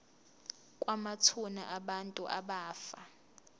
kwamathuna abantu abafa